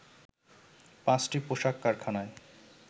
৫টি পোশাক কারখানায়